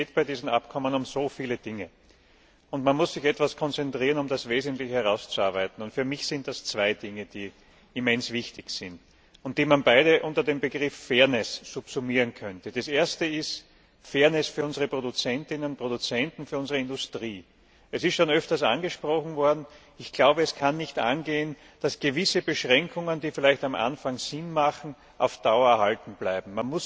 Bei diesem Abkommen geht es um so viele Dinge, und man muss sich etwas konzentrieren, um das Wesentliche herauszuarbeiten. Für mich sind das zwei Dinge, die immens wichtig sind und die man beide unter dem Begriff Fairness subsumieren könnte Das erste ist Fairness für unsere Produzentinnen und Produzenten, für unsere Industrie. Es ist schon öfters angesprochen worden. Es kann nicht angehen, dass gewisse Beschränkungen, die vielleicht am Anfang sinnvoll sind, auf Dauer erhalten bleiben.